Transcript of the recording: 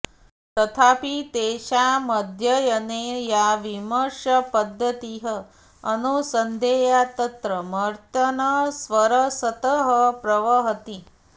तथापि तेषामध्ययने या विमर्शपध्दतिः अनुसन्धेया तत्र मतिर्न स्वरसतः प्रवहति